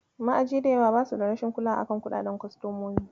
Ma'aji da yawa basu da rashin kulawa a kan kuɗaɗen kostomomi.